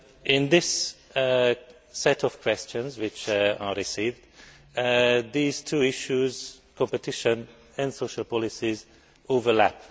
In this set of questions which I received, these two issues competition and social policies overlap.